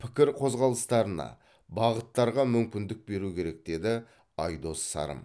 пікір қозғалыстарына бағыттарға мүмкіндік беру керек деді айдос сарым